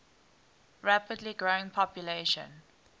rapidly growing population